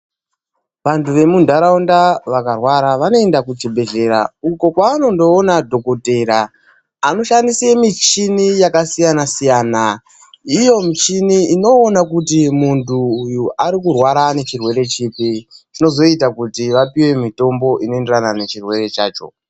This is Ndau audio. Vantu vemundaraunda vakarwara vanoenda kuchibhedhlera uko kwavanonoona dhokodheya anoshandise michini yakasiyana-siyana. Iyo michini inoona kuti muntu uyu arikurwara ngechirwere chipi, chinozoita kuti vapiwe mitombo inoenderana nechirwere chacho.